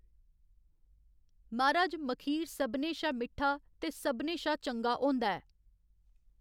मर्‌हाज, मखीर सभनें शा मिट्ठा ते सभनें शा चंगा होंदा ऐ।